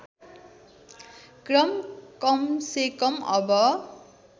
क्रम कमसेकम अब